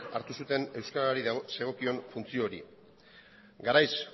hartu zuten euskarari zegokion funtzio hori garaiz